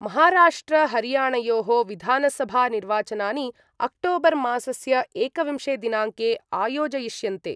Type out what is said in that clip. महाराष्ट्रहरियाणयोः विधानसभा निर्वाचनानि अक्टोबर्मासस्य एकविंशे दिनाङ्के आयोजयिष्यन्ते।